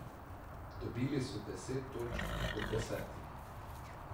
Dobili so deset točk od desetih.